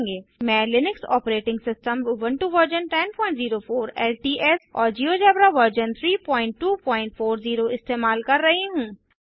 मैं Linux operating system Ubuntu version 1004 LTS और GeoGebra version 3240 इस्तेमाल कर रहा हूँ